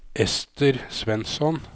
Ester Svensson